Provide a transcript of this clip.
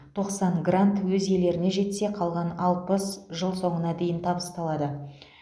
тоқсан грант өз иелеріне жетсе қалған алпыс жыл соңына дейін табысталады